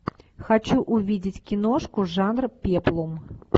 хочу увидеть киношку жанра пеплум